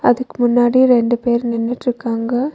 இதுக்கு முன்னாடி ரெண்டு பேர் நின்னுட்ருக்காங்க.